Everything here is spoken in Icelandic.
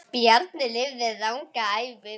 Bjarni lifði langa ævi.